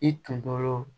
I tun tɔɔrɔ